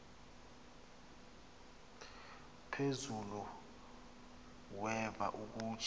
phezulu weva ukuba